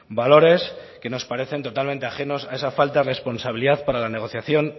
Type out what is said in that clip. valores que nos parece totalmente ajenos a esa falta de responsabilidad para la negociación